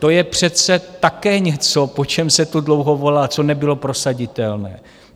To je přece také něco, po čem se tu dlouho volá, co nebylo prosaditelné.